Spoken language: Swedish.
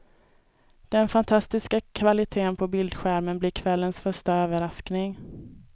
Den fantastiska kvalitén på bildskärmen, blir kvällens första överraskning.